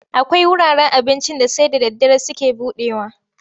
Akwai wuraren abincin da sai da daddare suke buɗewa.